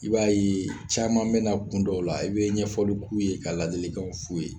I b'a ye caman bɛna kun dɔw la i bɛ kye ka ladilikaw f'u ye